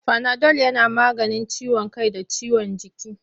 Fanadol yana maganin ciwon kai da ciwon jiki.